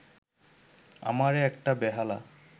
আমারে একটা বেহালা